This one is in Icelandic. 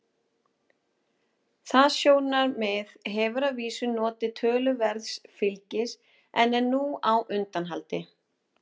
Það sjónarmið hefur að vísu notið töluverðs fylgis en er nú á undanhaldi.